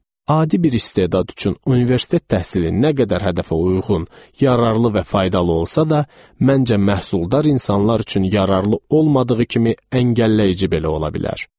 Adi bir istedad üçün universitet təhsili nə qədər hədəfə uyğun, yararlı və faydalı olsa da, məncə məhsuldar insanlar üçün yararlı olmadığı kimi əngəlləyici belə ola bilər.